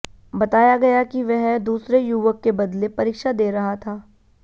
बताया गया कि वह दूसरे युवक के बदले परीक्षा दे रहा था